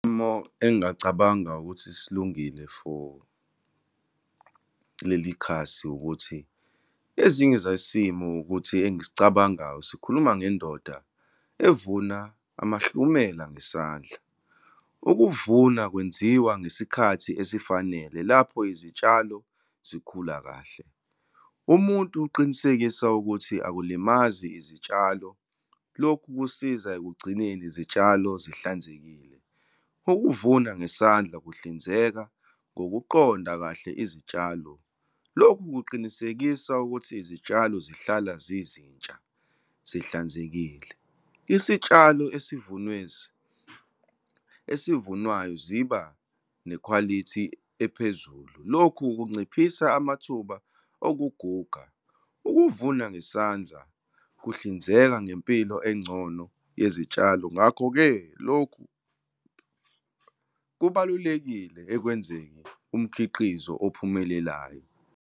Isimo engingacabanga ukuthi silungile for leli khasi ukuthi ezinye zesimo ukuthi, engisicabangayo, sikhuluma ngendoda evuna amahlumela ngesandla. Ukuvuna kwenziwa ngesikhathi esifanele lapho izitshalo zikhula kahle. Umuntu uqinisekisa ukuthi akulimazi izitshalo. Lokhu kusiza ekugcineni izitshalo zihlanzekile. Ukuvuna ngesandla kuhlinzeka ngokuqonda kahle izitshalo. Lokhu kuqinisekisa ukuthi izitshalo zihlala zizintsha, zihlazekile. Isitshalo esivunwayo ziba nekhwalithi ephezulu. Lokhu kunciphisa amathuba okuguga. Ukuvuna ngesandla kuhlinzeka ngempilo engcono yezitshalo, ngakho-ke, lokhu kubalulekile ekwenzeni umkhiqizo ophumelelayo.